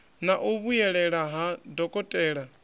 na u vhuyelela ha dokotela